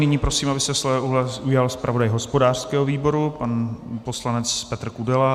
Nyní prosím, aby se slova ujal zpravodaj hospodářského výboru pan poslanec Petr Kudela.